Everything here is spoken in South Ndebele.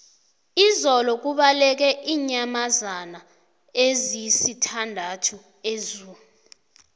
izolo kubaleke iinyamazana ezisithandathu ezoo